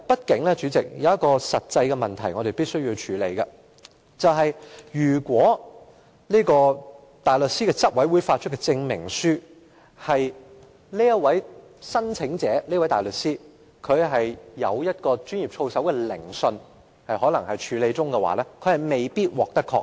代理主席，畢竟有一個實際問題是我們必須處理的，就是如果香港大律師公會執委會發出的證明書指，該名大律師正在接受操守研訊，那麼申請人便有可能未必獲得認許。